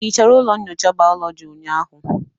Ị hichara ụlọ nyocha bayoloji ụnyaahụ?